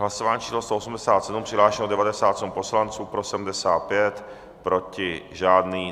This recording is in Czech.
Hlasování číslo 187, přihlášeno 97 poslanců, pro 75, proti žádný.